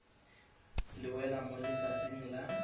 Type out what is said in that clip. le wela mo letsatsing la